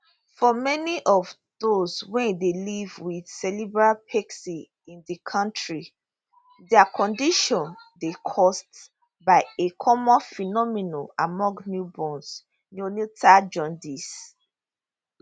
for many of those wey dey live wit cerebral palsy in di kontri dia condition dey caused by a common phenomenon among newborns neonatal jaundice